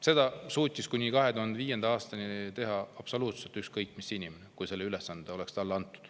Seda suutis kuni 2005. aastani teha absoluutselt iga inimene, kui see ülesanne talle anti.